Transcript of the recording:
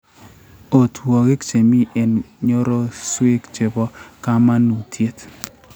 otwogik che mi eng' nyororosyek che po kamanuutyet: